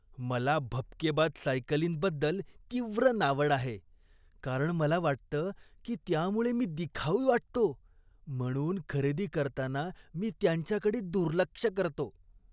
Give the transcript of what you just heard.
मला भपकेबाज सायकलींबद्दल तीव्र नावड आहे, कारण मला वाटतं की त्यामुळे मी दिखाऊ वाटतो, म्हणून खरेदी करताना मी त्यांच्याकडे दुर्लक्ष करतो.